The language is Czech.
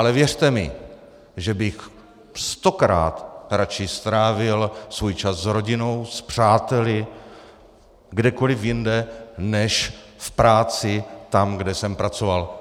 Ale věřte mi, že bych stokrát raději strávil svůj čas s rodinou, s přáteli, kdekoliv jinde než v práci tam, kde jsem pracoval.